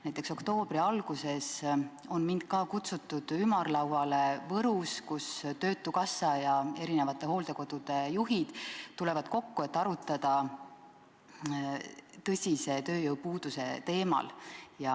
Näiteks, oktoobri alguses on mind ka kutsutud ümarlauale Võrus, kus töötukassa ja hooldekodude juhid tulevad kokku, et arutleda tõsise tööjõupuuduse teemal.